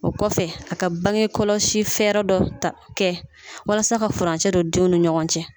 O kɔfɛ a ka bange kɔlɔsi fɛɛrɛ dɔ ta kɛ walasa ka furancɛ don denw ni ɲɔgɔn cɛ.